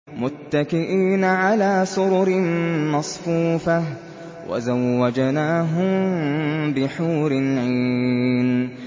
مُتَّكِئِينَ عَلَىٰ سُرُرٍ مَّصْفُوفَةٍ ۖ وَزَوَّجْنَاهُم بِحُورٍ عِينٍ